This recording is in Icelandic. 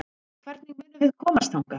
Hvernig munum við komast þangað?